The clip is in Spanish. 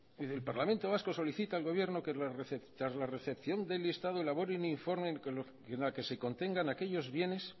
el parlamento vasco solicita al gobierno que tras la recepción del listado elabore un informe en la que se contengan aquellos bienes